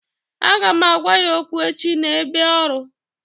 Aga m agwa ya okwu echi n'ebe ọrụ